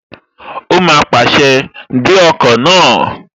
Ó má pàṣẹ, "Gbé ọkọ̀ náà!"